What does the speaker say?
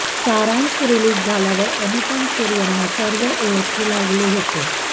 सारांश रिलीज झाल्यावर अनुपम खेर यांनी सर्व ओळखू लागले होते